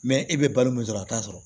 e bɛ balo min sɔrɔ a t'a sɔrɔ